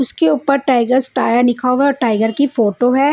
उसके ऊपर Tigers Tyre लिखा हुआ है टाइगर की फोटो है।